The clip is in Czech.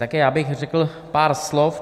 Také já bych řekl pár slov.